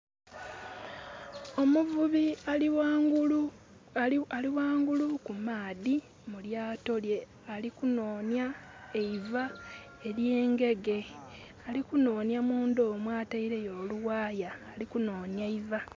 Omuvubi aliwangulu ku maadhi mulyaato lye alikunonya eiva erye ngege. Ali kunonya munda omwo ataireyo oluwaaya. Alikunonya iva